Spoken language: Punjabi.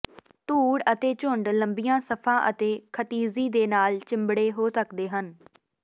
ਧੂੜ ਅਤੇ ਝੁੰਡ ਲੰਬੀਆਂ ਸਫਾਂ ਅਤੇ ਖਿਤਿਜੀ ਦੇ ਨਾਲ ਚਿੰਬੜੇ ਹੋ ਸਕਦੇ ਹਨ